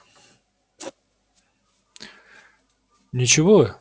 ничего